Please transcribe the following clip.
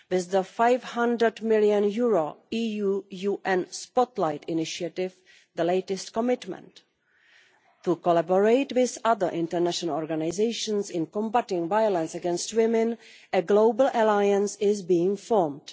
With the EUR 500 million EU UN Spotlight Initiative, the latest commitment to collaborate with other international organisations in combating violence against women, a global alliance is being formed.